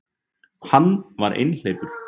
Hann var einhleypur.